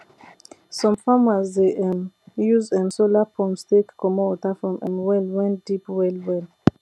some farmers dey um use um solar pumps take comot water from um well wen deep well well